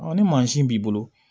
ni mansin b'i bolo